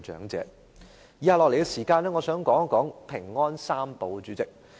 我想在以下的時間說說"平安三寶"。